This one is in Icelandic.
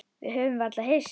Höfðum varla hist.